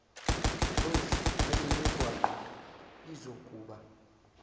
roads nalemigwaqo izokuba